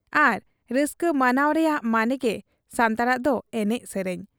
ᱟᱨ ᱨᱟᱹᱥᱠᱟᱹ ᱢᱟᱱᱟᱣ ᱨᱮᱭᱟᱜ ᱢᱟᱱᱮᱜᱮ ᱥᱟᱱᱛᱟᱲᱟᱜ ᱫᱚ ᱮᱱᱮᱡ ᱥᱮᱨᱮᱧ ᱾